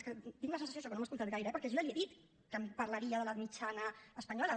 és que tinc la sensació això que no m’ha escoltat gaire eh perquè jo ja li he dit que em parlaria de la mitjana espanyola